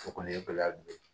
O kɔni ye gɛlɛya dɔ ye